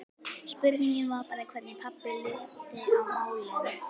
Spurningin var bara hvernig pabbi liti á málin.